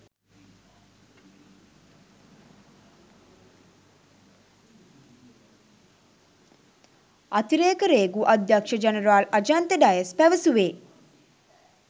අතිරේක රේගු අධ්‍යක්ෂ ජනරාල් අජන්ත ඩයස් පැවසුවේ